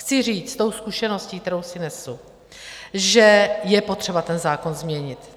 Chci říct s tou zkušeností, kterou si nesu, že je potřeba ten zákon změnit.